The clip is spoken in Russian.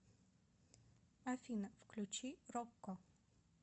афина включи роко